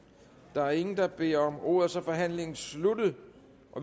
der er ingen der beder om ordet og så er forhandlingen sluttet